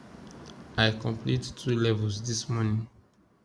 i complete 2 levels this morning